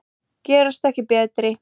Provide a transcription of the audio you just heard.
Gerast ekki betri.